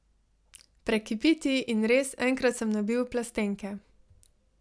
Prekipi ti in, res, enkrat sem nabil v plastenke.